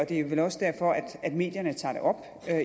det er vel også derfor at medierne tager det op